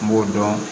N b'o dɔn